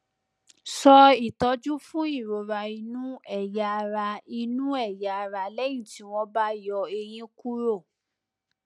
so itọju fún ìrora inú ẹyà ara inú ẹyà ara lẹyìn tí wọn bá yọ eyín kúrò